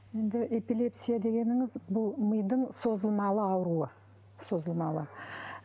енді эпилепсия дегеніңіз бұл мидың созылмалы ауруы созылмалы